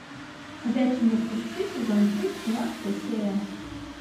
ходячие мертвецы сезон три восемнадцатая серия